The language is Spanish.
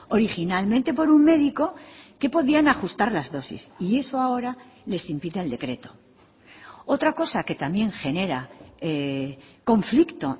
originalmente por un médico que podían ajustar las dosis y eso ahora les impide el decreto otra cosa que también genera conflicto